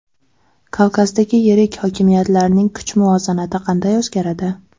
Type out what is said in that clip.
Kavkazdagi yirik hokimiyatlarning kuch muvozanati qanday o‘zgaradi?